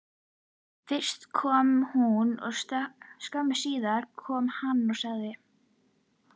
Fyrst kom hún og skömmu síðar kom hann og sagði: